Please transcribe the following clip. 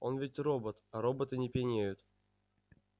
он ведь робот а роботы не пьянеют